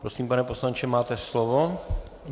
Prosím, pane poslanče, máte slovo.